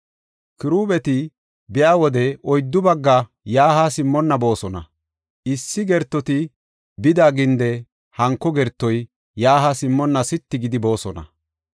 Kirubeeti biya wode oyddu bagga yaa haa simmonna boosona; issi gertoti bida ginde hanko gertoy yaa haa simmonna sitti gidi boosona.